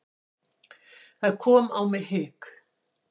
Það kom á mig hik.